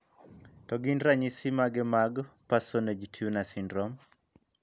To gin ranyisi mage mag Parsonage Turner syndrome?